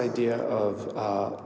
í að